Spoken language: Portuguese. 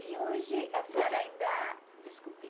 E hoje a senhora ainda... Desculpe.